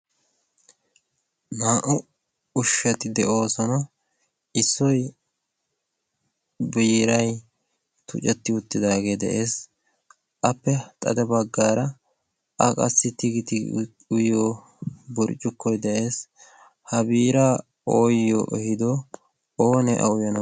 naa'u ushshati de'oosona issoy biiray tucetti uttidaagee de'ees. appe xade baggaara a qassi tigiti uyyo burccukkoy de'ees . ha biiraa ooyyo ehido oonee auyana